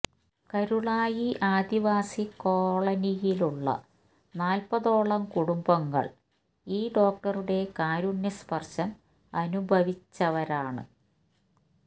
കരുളായി ആദിവാസി കോളനിയിലുള്ള നാൽപ്പതോളം കുടുംബങ്ങൾ ഈ ഡോക്ടറുടെ കാരുണ്യസ്പർശം അനുഭവിച്ചവരാണ്